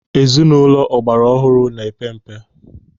Ezinụlọ ọgbara ọhụrụ na-epe mpe.